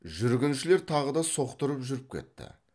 жүргіншілер тағы да соқтырып жүріп кетті